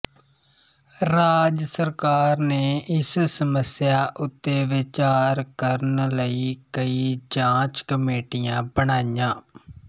ਰਾਜ ਸਰਕਾਰ ਨੇ ਇਸ ਸਮੱਸਿਆ ਉੱਤੇ ਵਿਚਾਰ ਕਰਨ ਲਈ ਕਈ ਜਾਂਚ ਕਮੇਟੀਆਂ ਬਣਾਈਆਂ